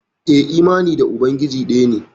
Eh imani da ubangiji daya ne.